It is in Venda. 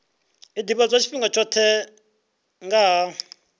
ḓivhadzwa tshifhinga tshoṱhe nga ha